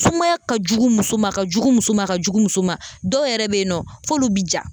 Sumaya ka jugu muso ma,a ka jugu muso ma a ka jugu muso ma. Dɔw yɛrɛ be yen nɔ f'olu bi ja.